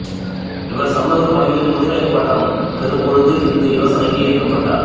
இவர் சமூகப் பணிகளில் முதுகலைப் பட்டம் பெறும்போது இந்த யோசனைக்கு ஈர்க்கப்பட்டார்